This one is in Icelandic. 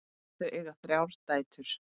Þau eiga þrjár dætur.